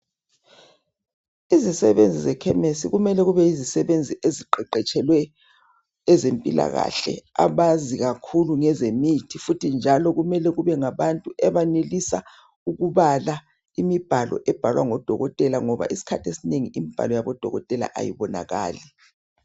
Izisebenzi zekhemisi kumele kube yizisebenzi eziqeqetshelwe ezempilakahle, abazi kakhulu ngezemithi futhi njalo kumele kube ngabantu abenelisa ukubala imibhalo ebhalwa ngodokotela ngoba isikhathi esinengi imibhalo yabodokotela ayibonakali.